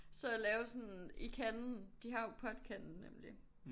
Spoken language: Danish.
Så lave sådan i kanden de har jo podkanden nemlig